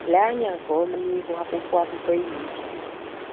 Lee anya nke ọma n'ihu akwụkwọ akụkọ ị na-ejide.